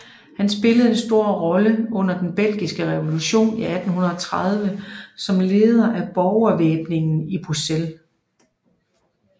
Han spillede en stor rolle under den belgiske revolution i 1830 som leder af borgervæbningen i Bruxelles